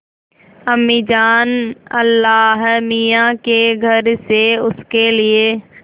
अम्मीजान अल्लाहमियाँ के घर से उसके लिए